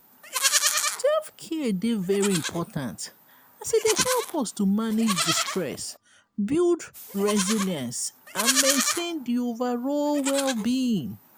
self-care dey very important as e dey help us to manage di stress build resilience and maintain di overall well-being.